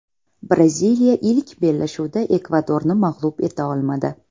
Braziliya ilk bellashuvda Ekvadorni mag‘lub eta olmadi.